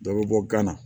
Dɔ bɛ bɔ gana